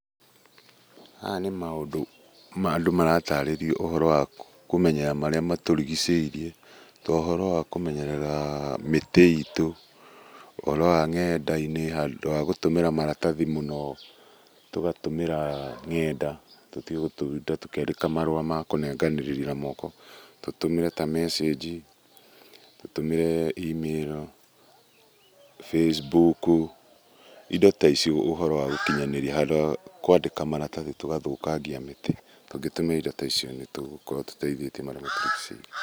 Haha nĩ andũ maratarĩrio ũhoro wa kũmenya marĩa matũrigiceirie, ta ũhoro wa kũmenyerera mĩtĩ itũ, ũhoro wa nenda-inĩ handũ wagũtũmĩra maratathi mũno tũgatũmĩra ngenda tũtige tũkĩandĩka marũa makũnenganĩrĩria na moko , tũtũmĩre ta mecenji, tũtũmĩre E-mail, Facebook, indo taicio ũhoro wagũkinyanĩria, handũ wagũkinyanĩria marathi tũgathũkangia mĩtĩ. Tũngĩtũma indo taicio nĩtũgũkorwo tũteithĩtie marĩa matũrigiceirie.